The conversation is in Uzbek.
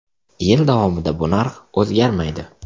Yil davomida bu narx o‘zgarmaydi.